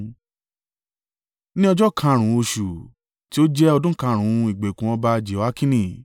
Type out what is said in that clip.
Ní ọjọ́ karùn-ún oṣù—tí ó jẹ́ ọdún karùn-ún ìgbèkùn ọba Jehoiakini—